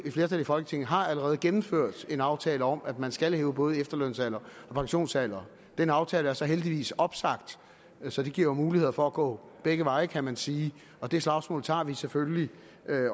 et flertal i folketinget allerede har gennemført en aftale om at man skal hæve både efterlønsalderen og pensionsalderen den aftale er så heldigvis opsagt så det giver jo muligheder for at gå begge veje kan man sige og det slagsmål tager vi selvfølgelig